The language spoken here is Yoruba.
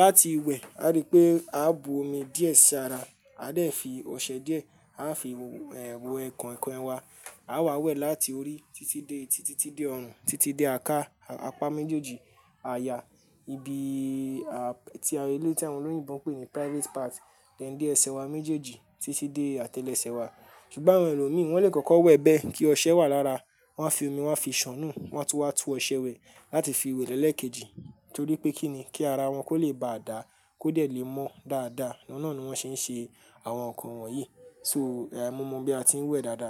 Láti wẹ̀, a rí pé a bu omi díẹ̀ sí ara, a dẹ̀ fi ọṣẹ díẹ̀, a fi, wo, ẹ̀, we koinkoin wa. A wà wẹ̀ láti orí títí dé eti, títí dé ọrùn, títí dé àká, apá méjèèjì àyà, ibi, a, tí awon eleyii ti àwọn olóyinbo ń pè ní private part, then de ẹsẹ̀ wa méjèèjì títí dé àtẹlẹsẹ̀ wa. Sugbon àwọn ẹlòmí, wọ́n lè kọ́kọ́ wẹ̀ bẹ́ẹ̀ kí ọṣẹ wà lára. Wọ́n a fi omi, wọ́n a fi ṣán nù, wọ́n á túwa túwe oṣẹ wẹ̀ láti fi wẹ̀ lẹ́ẹ̀kejì. Torí pé kí ni? Kí ara wọn kó lè ba à dáa, kó de lè mọ dáadáa. Ọ̀hun nàa ni wọ́n ṣe ń ṣe àwọn nǹkan wọ̀nyí. So, e mo mọ bí a ti ń wẹ̀ dáadáa.